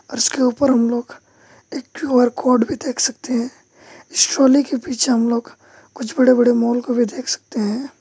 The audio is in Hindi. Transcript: और इसके ऊपर हम लोग एक क्यू_आर कोड भी देख सकते हैं के पीछे हम लोग कुछ बड़े बड़े मॉल को भी देख सकते हैं।